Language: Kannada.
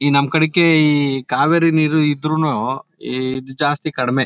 ಈ ನಮ್ ಕಡೆಕ್ಕೆ ಈ ಕಾವೇರಿ ನೀರ್ ಇದ್ರುನು ಈದ್ ಜಾಸ್ತಿ ಕಡಿಮೆ.